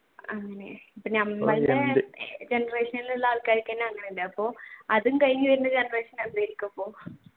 generation ഉള്ളവർക്ക് തന്നെ അപ്പൊ അതും കഴിഞ്ഞു വരുന്ന generation എന്തായിരിക്കും അപ്പോൾ